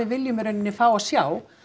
viljum í raun fá að sjá